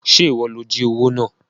Ṣé ìwọ ló jí owó náà?